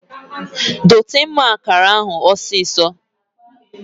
Dote mma akara ahu osiso!